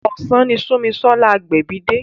Ọ̀sán ni Sunmisola Agbebi dé.